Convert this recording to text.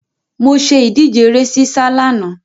Mo ṣe ìdíje ere sísá lánàá.